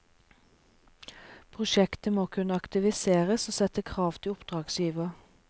Prosjektet må kunne aktivisere og sette krav til oppdragsgiver.